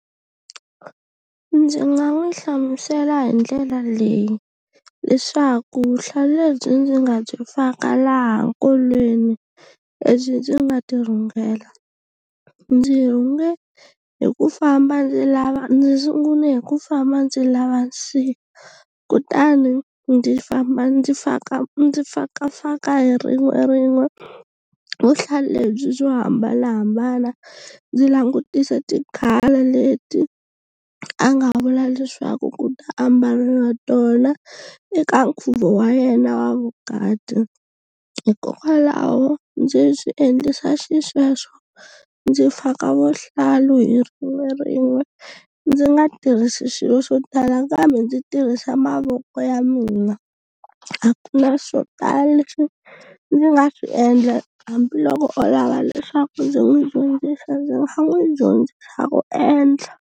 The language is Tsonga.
Ndzi nga n'wi hlamusela hi ndlela leyi leswaku vuhlalu lebyi ndzi nga byi faka laha nkolweni lebyi ndzi nga ti rhungela ndzi rhunge hi ku famba ndzi lava ndzi sungule hi ku famba ndzi lava kutani ndzi famba ndzi faka ndzi fakafaka hi rin'werin'we vuhlalu lebyi byo hambanahambana ndzi langutisa ti-colour leti a nga vula leswaku ku ta ambaliwa tona eka nkhuvo wa yena wa vukati hikokwalaho ndzi swi endlisa xisweswo ndzi faka vuhlalu hi rin'we rin'we ndzi nga tirhisi swilo swo tala kambe ndzi tirhisa mavoko ya mina a ku na swo tala leswi ndzi nga swi endla hambiloko o lava leswaku ndzi n'wi dyondzisa ndzi nga n'wi dyondzisa ku endla.